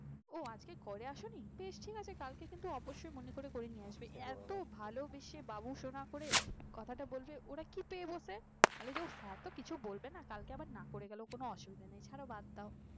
ও আজকে পরে আসনি বেশ ঠিক আছে? কালকে কিন্তু অবশ্যই মনে করে করে নিয়ে আসবে এত ভালবেসে বাবুসোনা করে কথাটা বললে ওরা কি পেয়ে বসে। তাহলে যে sir টা কিছু বলবে না কালকে আবার না করে গেলেও কোন অসুবিধা নেই